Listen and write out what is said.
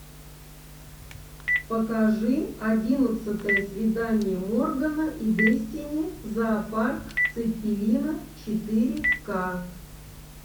покажи одиннадцатое свидание моргана и дэстини зоопарк цеппелина четыре ка